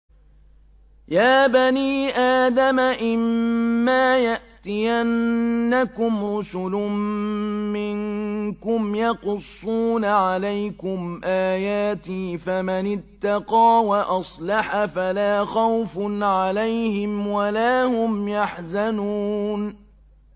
يَا بَنِي آدَمَ إِمَّا يَأْتِيَنَّكُمْ رُسُلٌ مِّنكُمْ يَقُصُّونَ عَلَيْكُمْ آيَاتِي ۙ فَمَنِ اتَّقَىٰ وَأَصْلَحَ فَلَا خَوْفٌ عَلَيْهِمْ وَلَا هُمْ يَحْزَنُونَ